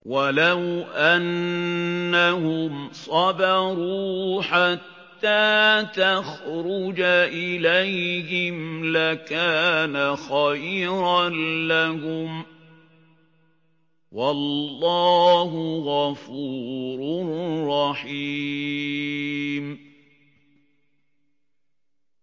وَلَوْ أَنَّهُمْ صَبَرُوا حَتَّىٰ تَخْرُجَ إِلَيْهِمْ لَكَانَ خَيْرًا لَّهُمْ ۚ وَاللَّهُ غَفُورٌ رَّحِيمٌ